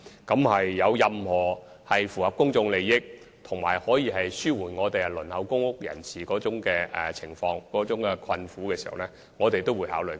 若有任何符合公眾利益，以及可紓緩輪候公屋人士困苦情況的建議，我們均會考慮。